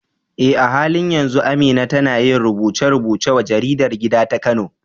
Eh, a halin yanzu Amina tana yin rubuce-rubuce wa jaridar gida ta Kano.